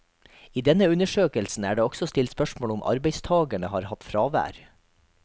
I denne undersøkelsen er det også stilt spørsmål om arbeidstagerne har hatt fravær.